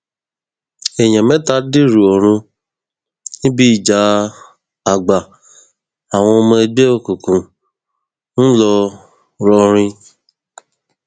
èèyàn mẹta dèrò ọrun níbi ìjà àgbà àwọn ọmọ ẹgbẹ òkùnkùn ńlọrọrìn